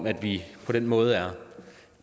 at vi på den måde